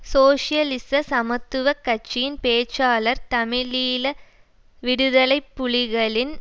சோசியலிச சமத்துவ கட்சியின் பேச்சாளர் தமிழீழ விடுதலை புலிகளின்